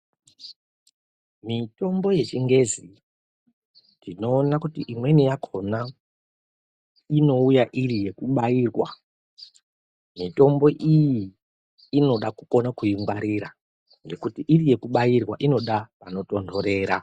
Mitombo yechingezi tinoona kuti imweni yakona inouya iri yekubairwa mitombo iyi inoda kukone kuingwarira ngekuti iri yekubairwa inoda pano tondorera.